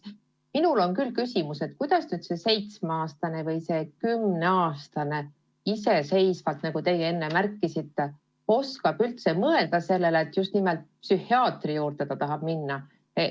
Minul on küll küsimus, kuidas seitsmeaastane või kümneaastane iseseisvalt, nagu teie enne märkisite, oskab üldse tahta just nimelt psühhiaatri juurde minna.